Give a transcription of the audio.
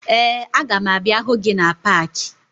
Ee, aga m abịa hụ gị na paakị